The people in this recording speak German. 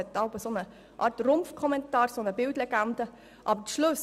Eine Art Rumpfkommentar, eine Bildlegende ist jeweils vorhanden.